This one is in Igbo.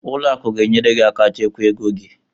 Ụlọ akụ ga-enyere gị aka chekwa ego gị.